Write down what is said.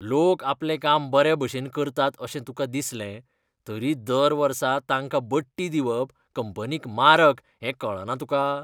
लोक आपलें काम बरे भशेन करतात अशें तुका दिसलें, तरी दर वर्सा तांकां बडटी दिवप कंपनीक मारक हें कळना तुका?